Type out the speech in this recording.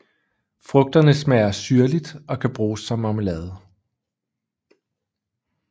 Frugterne smager syrligt og kan bruges som marmelade